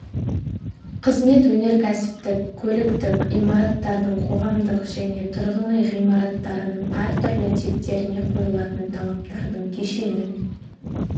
қызмет өнеркәсіптік көліктік имараттардың қоғамдық және тұрғын үй ғимараттарының әртүрлі типтеріне қойылатын талаптардың кешенін